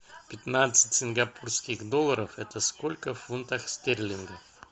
пятнадцать сингапурских долларов это сколько в фунтах стерлингов